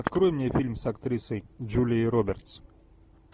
открой мне фильм с актрисой джулией робертс